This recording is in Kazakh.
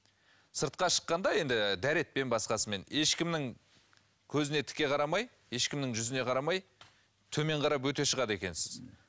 сыртқа шыққанда енді дәретпен басқасымен ешкімнің көзіне тіке қарамай ешкімнің жүзіне қарамай төмен қарап өте шығады екенсіз